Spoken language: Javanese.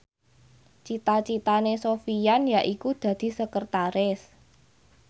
cita citane Sofyan yaiku dadi sekretaris